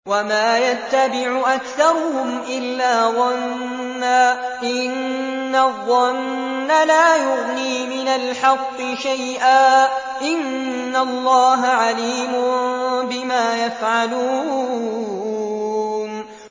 وَمَا يَتَّبِعُ أَكْثَرُهُمْ إِلَّا ظَنًّا ۚ إِنَّ الظَّنَّ لَا يُغْنِي مِنَ الْحَقِّ شَيْئًا ۚ إِنَّ اللَّهَ عَلِيمٌ بِمَا يَفْعَلُونَ